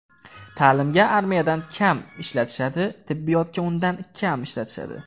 Ta’limga armiyadan kam ishlatishadi, tibbiyotga undan kam ishlatishadi.